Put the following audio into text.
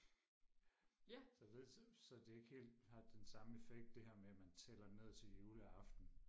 så det så det ikke helt har den samme effekt det her med at man tæller ned til juleaften